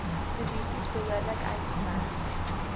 posisies behoorlik uitgemerk